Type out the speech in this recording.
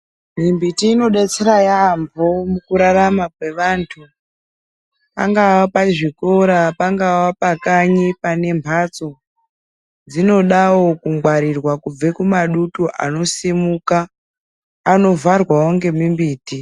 Imwe mbiti inobetsera yaambo mukurarama kwevantu pangava pazvikora pangava pakanyi pane mhatso. Dzinodawo kungwarirwa kubva kumadutu anosimuka anovharwawo ngemimbiti.